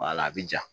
a bɛ ja